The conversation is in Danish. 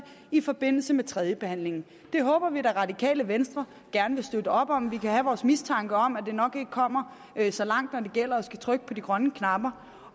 i forbindelse med tredjebehandlingen det håber vi at det radikale venstre gerne vil støtte op om vi kan have vores mistanke om at det nok ikke kommer så langt når det gælder om at skulle trykke på de grønne knapper